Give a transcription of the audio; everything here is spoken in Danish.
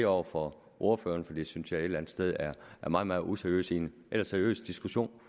over for ordføreren for det synes jeg et sted er meget meget useriøst i en ellers seriøs diskussion